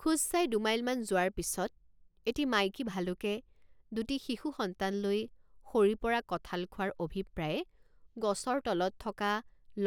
খোজ চাই দুমাইলমান যোৱাৰ পিচত এটি মাইকী ভালুকে দুটি শিশু সন্তান লৈ সৰি পৰা কঠাল খোৱাৰ অভিপ্ৰায়ে গছৰ তলত থকা